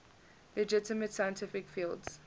legitimate scientific fields